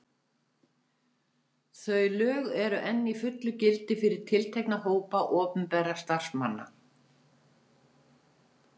Þau lög eru enn í fullu gildi fyrir tiltekna hópa opinberra starfsmanna.